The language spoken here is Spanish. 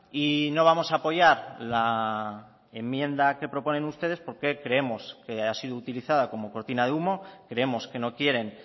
y no vamos a apoyar la enmienda que proponen ustedes porque creemos que ha sido utilizada como cortina de humo creemos que no quieren